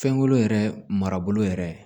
Fɛnko yɛrɛ marabolo yɛrɛ